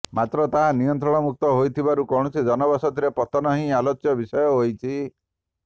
ମାତ୍ର ତାହା ନିୟନ୍ତ୍ରଣମୁକ୍ତ ହୋଇଥିିବାରୁ କୌଣସି ଜନବସତିରେ ପତନ ହିଁ ଆଲୋଚ୍ୟ ବିଷୟ ହୋଇଛି